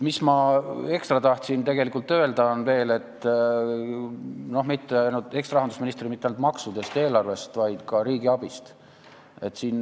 Mida ma ekstra tahan veel öelda, ja mitte ainult eksrahandusministrina, on see, et jutt pole mitte ainult maksudest ja eelarvest, vaid ka riigiabist.